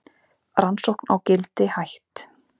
Rannsókn á Gildi hætt